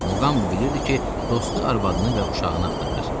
Muqambi bilirdi ki, dostu arvadını və də uşağını axtarır.